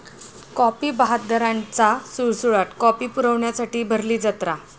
copy बहाद्दरांचा सुळसुळाट, copy पुरवण्यासाठी भरली जत्रा